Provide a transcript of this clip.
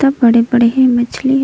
सब बड़े-बड़े हे मछली ह--